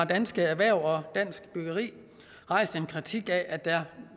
dansk erhverv og dansk byggeri har rejst en kritik af at der